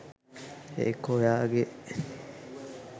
ඒක ඔයාගෙ